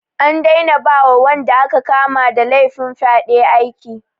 An daina ba wa wanda aka kama da laifin fyaɗe aiki.